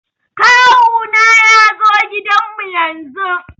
Kawu na ya zo gidan mu yanzun